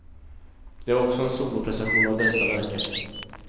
Det var också en soloprestation av bästa märke.